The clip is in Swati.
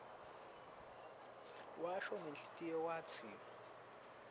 washo ngenhlitiyo watsi